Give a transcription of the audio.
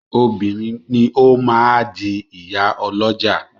Obìnrin ni ó máa di ìyá ọlọ́jà.